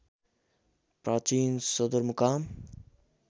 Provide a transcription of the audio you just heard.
प्राचीन सदरमुकाम